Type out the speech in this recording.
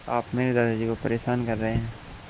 आप मेरे दादाजी को परेशान कर रहे हैं